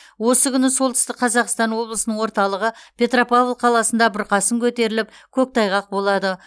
осы күні солтүстік қазақстан облысының орталығы петропавл қаласында бұрқасын көтеріліп көктайғақ болады